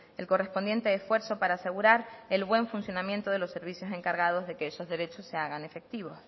el correspondiente esfuerzo para asegurar el buen funcionamiento de los servicios encargados de que esos derechos se hagan efectivos